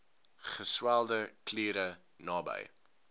geswelde kliere naby